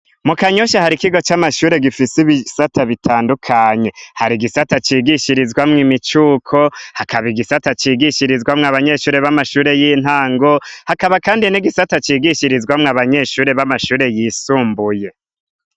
Mu kanyosha har'ikigo c'amashure gifise ibisata bitandukanye har'igisata cigishirizwamwo imicuko, hakaba igisata cigishirizwamwo abanyeshure b'amashure y'intango, hakaba kandi ikindi gisata cigishirizwamwo abanyeshure b'amashure yisumbuye.